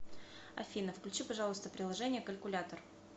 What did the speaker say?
афина включи пожалуйста приложение калькулятор